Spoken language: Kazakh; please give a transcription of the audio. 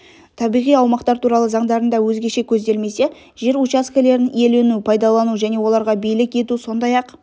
табиғи аумақтар туралы заңдарында өзгеше көзделмесе жер учаскелерін иелену пайдалану және оларға билік ету сондай-ақ